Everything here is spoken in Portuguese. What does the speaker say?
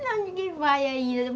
Não, ninguém vai ainda.